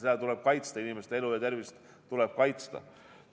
Nii et inimeste elu ja tervist tuleb kaitsta.